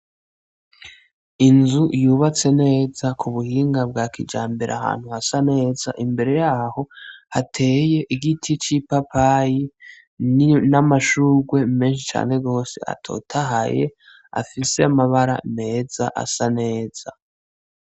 Inzu yubatse neza kubuhinga bwakijambere ahantu hasaneza, imbere yaho hateye igiti c'ipapayi n'amashugwe menshi cane gwose atotahaye afise amabara meza asaneza.